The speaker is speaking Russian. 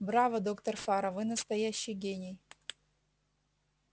браво доктор фара вы настоящий гений